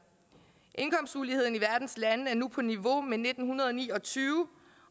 indkomstuligheden i verdens lande er nu på niveau med nitten ni og tyve